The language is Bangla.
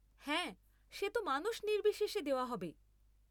হ্যাঁ, সে তো মানুষ নির্বিশেষে দেওয়া হবে।